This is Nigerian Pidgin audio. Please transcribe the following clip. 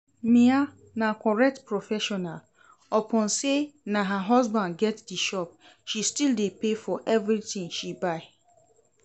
Mia na correct professional, upon say na her husband get the shop she still dey pay for everything she buy